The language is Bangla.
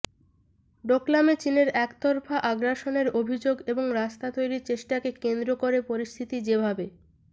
ডোকলামে চিনের একতরফা আগ্রাসনের অভিযোগ এবং রাস্তা তৈরির চেষ্টাকে কেন্দ্র করে পরিস্থিতি যে ভাবে